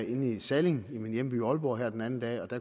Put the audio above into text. inde i salling i min hjemby aalborg her den anden dag